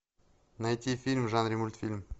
найти фильм в жанре мультфильм